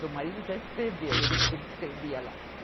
Seu marido já escreveu, ele escrevia lá.